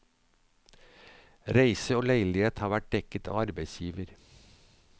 Reise og leilighet har vært dekket av arbeidsgiver.